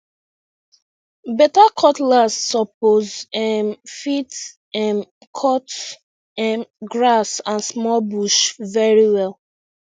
better cutlass suppose um fit um cut um grass and small bush very well